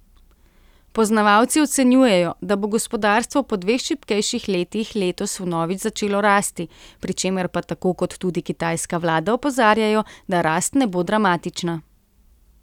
Poznavalci ocenjujejo, da bo gospodarstvo po dveh šibkejših letih letos vnovič začelo rasti, pri čemer pa tako kot tudi kitajska vlada opozarjajo, da rast ne bo dramatična.